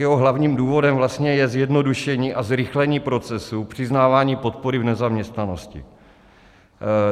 Jeho hlavním důvodem je zjednodušení a zrychlení procesu přiznávání podpory v nezaměstnanosti.